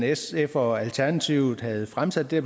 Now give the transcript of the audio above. sf og alternativet havde fremsat det